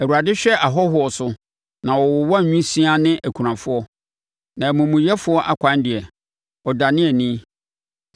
Awurade hwɛ ahɔhoɔ so na ɔwowa nwisiaa ne akunafoɔ, na amumuyɛfoɔ akwan deɛ, ɔdane ani.